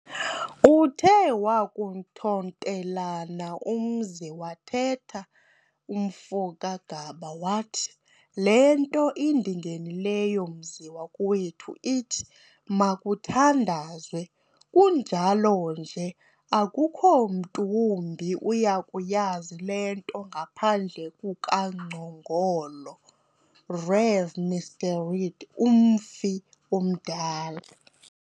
uthe wakuthontelana umzi wathetha umfo kaGaba wathi, " Le nto indingenileyo mzi wakowethu ithi, makuthandazwe, kunjalo nje akukho mntu wumbi uyakuyazi le nto ngaphandle kukaNgcongolo, Rev. Mr. Read umfi omdala.